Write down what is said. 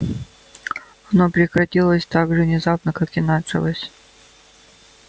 оно прекратилось так же внезапно как и началось